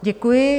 Děkuji.